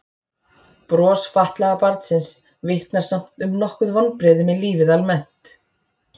Bros fatlaða barnsins vitnar samt um nokkur vonbrigði með lífið almennt.